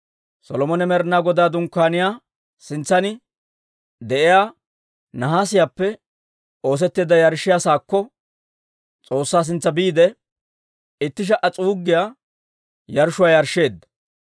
Solomone Med'inaa Godaa Dunkkaaniyaa sintsan de'iyaa nahaasiyaappe oosetteedda yarshshiyaa saakko, S'oossaa sintsa biide, itti sha"a s'uuggiyaa yarshshuwaa yarshsheedda.